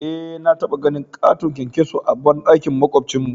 Eh na taba ganin katon kyankyaso a bandakin makwabcin mu.